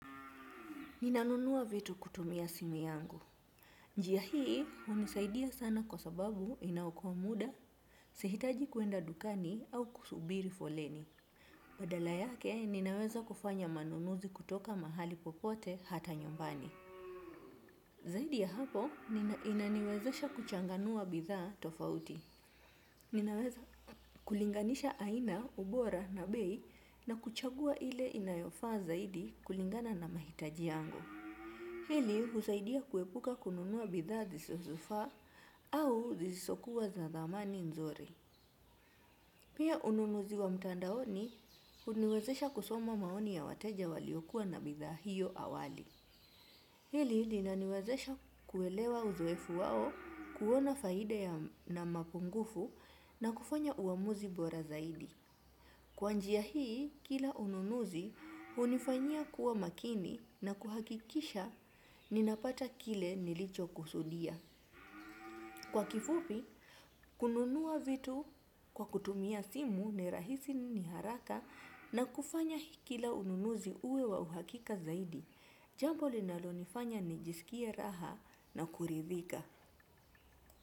Ninanunua vitu kutumia simu yangu. Njia hii hunisaidia sana kwa sababu inaokoa muda, sihitaji kuenda dukani au kusubiri foleni. Badala yake ninaweza kufanya manunuzi kutoka mahali popote hata nyumbani. Zaidi ya hapo, inaniwezesha kuchanganua bidhaa tofauti. Ninaweza kulinganisha aina, ubora na bei na kuchagua ile inayofaa zaidi kulingana na mahitaji yangu. Hili husaidia kuepuka kununua bidhaa zisizofaa au zisokuwa za thamani nzuri. Pia ununuzi wa mtandaoni huniwezesha kusoma maoni ya wateja waliokuwa na bidhaa hiyo awali. Hili linaniwezesha kuelewa uzoefu wao kuona faida na mapungufu na kufanya uamuzi bora zaidi. Kwa njia hii, kila ununuzi hunifanya kuwa makini na kuhakikisha ninapata kile nilichokusudia. Kwa kifupi, kununua vitu kwa kutumia simu ni rahisi ni haraka na kufanya hii kila ununuzi uwe wa uhakika zaidi. Jambo linalonifanya nijisikie raha na kuridhika.